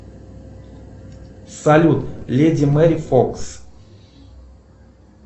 салют леди мэри фокс